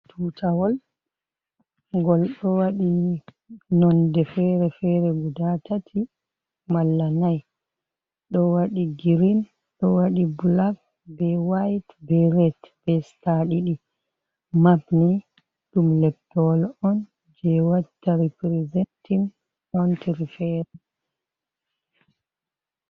Tutawol ngol ɗo waɗi nonde fere-fere guda tati, malla nai. ɗo waɗi girin, ɗo waɗi blak, be wayit, be ret, be sta ɗiɗi, mapni ɗum leppowol on je watta riprizentin kountiri fere.